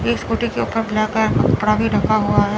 एक स्कूटी के ऊपर ब्लैक है कपड़ा भी ढका हुआ है।